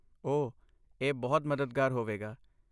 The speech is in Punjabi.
ਓਹ, ਇਹ ਬਹੁਤ ਮਦਦਗਾਰ ਹੋਵੇਗਾ।